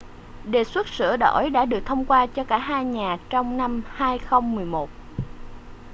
đề xuất sửa đổi đã được thông qua cho cả hai nhà trong năm 2011